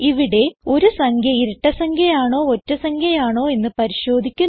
ഇവിടെ ഒരു സംഖ്യ ഇരട്ട സംഖ്യ ആണോ ഒറ്റ സംഖ്യ ആണോ എന്ന് പരിശോധിക്കുന്നു